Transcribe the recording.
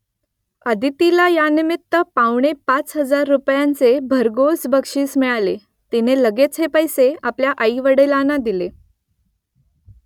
अदितीला यानिमित्त पावणे पाच हजार रुपयांचे भरघोस बक्षीस मिळाले , तिने लगेच हे पैसे आपल्या आईवडलांना दिले